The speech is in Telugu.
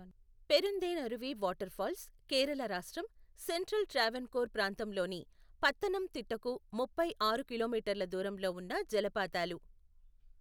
పెరుందేనరువి వాటర్ ఫాల్స్ కేరళ రాష్ట్రం, సెంట్రల్ ట్రావెన్కోర్ ప్రాంతంలోని పత్తనంతిట్టకు ముప్పై ఆరు కిలోమీటర్ల దూరంలో ఉన్న జలపాతాలు.